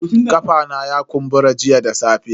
Kafa na ya kumbura jiya da safe.